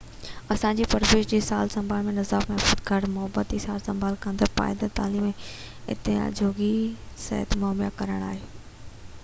اسان جي پرورش جي سار سنڀال جو نظام محفوظ گهر محبتي سار سنڀال ڪندڙ پائيدار تعليم ۽ اعتماد جوڳي صحت مهيا ڪرڻ آهي